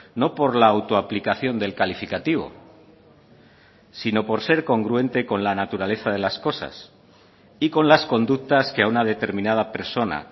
no por la auto aplicación del calificativo sino por ser congruente con la naturaleza de las cosas y con las conductas que a una determinada persona